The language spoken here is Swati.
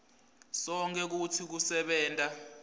sonkhe kutsi kusebenta